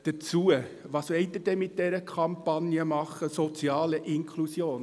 Was wollen Sie denn mit dieser Kampagne machen, «soziale Integration»?